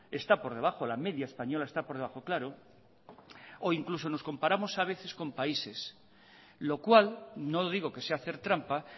está por debajo la media española está por debajo claro o incluso nos comparamos a veces con países lo cual no digo que sea hacer trampa